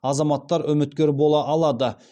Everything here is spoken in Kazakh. азаматтар үміткер бола алады